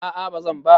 A'a bazan ba.